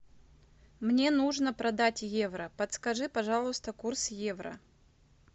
мне нужно продать евро подскажи пожалуйста курс евро